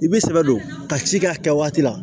I b'i sɛbɛ don ka ci kɛ a kɛ waati la